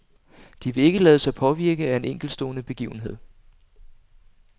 De vil ikke lade sig påvirke af en enkeltstående begivenhed.